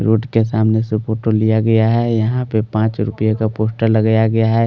Road के सामने से फ़ोटो लिया गया है यहाँ पे पाँच रूपीय का पोस्टर लगाया गया है ।